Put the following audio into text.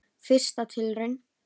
Fyrsta tilraun